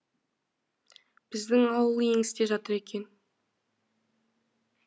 біздің ауыл еңісте жатыр екен